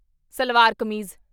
salwar kameez